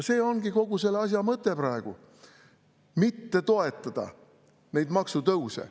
See ongi kogu selle asja mõte praegu: mitte toetada neid maksutõuse.